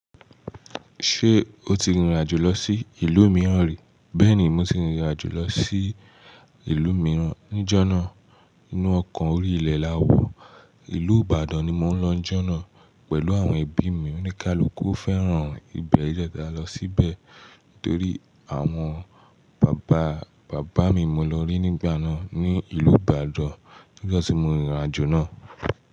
Ṣé o ti rìnrìn-àjò lọ sí ìlú mìíràn rí? Bẹ́ẹ̀ni, mo ti rìnrìn-àjò lọ sí ìlú mìíràn níjọ́ náà Inú ọkọ̀ orí ilẹ̀ la wọ̀. Ìlú Ìbàdàn ni mo ń lọ ńjọ́ náà pẹ̀lú àwọn ẹbí mi. Oníkálukú fẹ́ràn ibẹ̀ ló jẹ́ kí a lọ síbẹ̀ torí àwọn bàbá bàbá mi mo lọ rí nígbà náà ní ìlú Ìbàdàn níjọ́ tí mo rìnrìn-àjò náà.